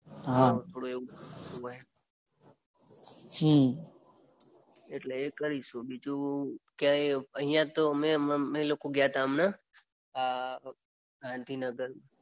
હા થોડું એવું હોય. એટલે એ કરીશું. બીજું ક્યાંય અહિયાં તો અમે લોકો ગયાતા હમણાં ગાંધીનગર.